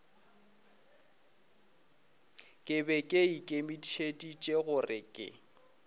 be ke ikemišeditše gore ke